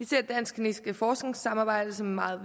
det dansk kinesiske forskningssamarbejde som meget